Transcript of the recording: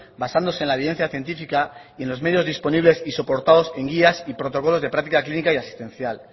basándose en la evidencia científica y en los medios disponibles y soportados en guías y protocolos de práctica clínica y asistencial